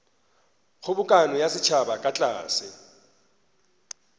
kgobokano ya setšhaba ka tlase